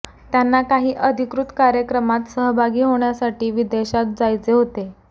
त्यांना काही अधिकृत कार्यक्रमात सहभागी होण्यासाठी विदेशात जायचे होते